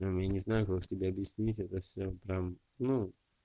я не знаю как тебе объяснить это всё прям ну